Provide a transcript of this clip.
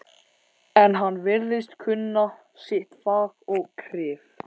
En hann virðist kunna sitt fag og kryf